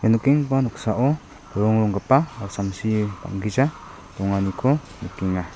nikenggipa noksao po·rongronggipa samsi bang·gija donganiko nikenga.